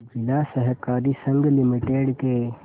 जिला सहकारी संघ लिमिटेड के